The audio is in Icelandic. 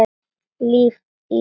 Líf í ljósi.